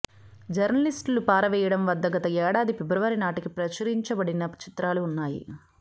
జర్నలిస్టులు పారవేయడం వద్ద గత ఏడాది ఫిబ్రవరి నాటికి ప్రచురించబడని చిత్రాలు ఉన్నాయి